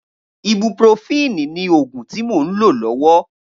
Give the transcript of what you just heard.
Ibúprófìní ni ógún ti mó n ló lòwò